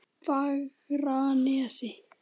Fagranesi